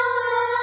ವಂದೇಮಾತರಂ